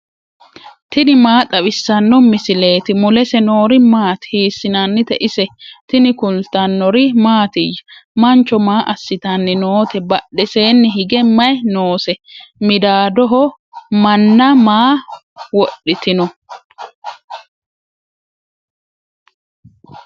tini maa xawissanno misileeti ? mulese noori maati ? hiissinannite ise ? tini kultannori mattiya? Mancho maa asittanni nootte? Badhesenni hige mayi noose? Midaadoho manna maa wodhittinno?